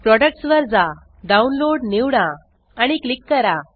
products वर जा download निवडा आणि क्लिक करा